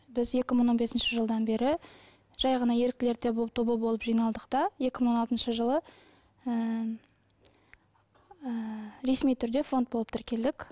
біз екі мың он бесінші жылдан бері жай ғана еріктілер тобы болып жиналдық та екі мың он алтыншы жылы ыыы ресми түрде фонд болып тіркелдік